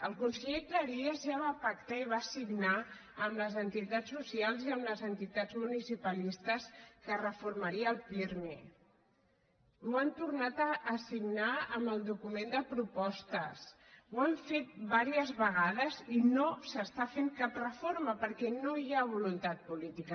el conseller cleries ja va pactar i va signar amb les entitats socials i amb les entitats municipalistes que reformaria el pirmi i ho han tornat a signar amb el document de propostes ho han fet diverses vegades i no s’està fent cap reforma perquè no hi ha voluntat política